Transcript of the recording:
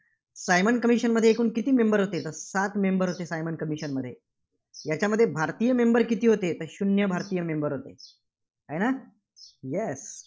Simon Commision मध्ये एकूण किती member होते? तर सात member होते सायमन commission मध्ये. याच्यामध्ये भारतीय member किती होते? तर शून्य भारतीय member होते. आहे ना? Yes